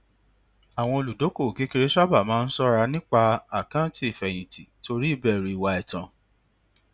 àwọn olùdókòwò kékeré sábà ń ṣọra nípa àkáǹtì ìfèyìntì torí ìbèrù ìwà ètàn